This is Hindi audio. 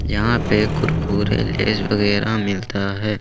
यहां पे कुरकुरे लेज वगैरा मिलता है।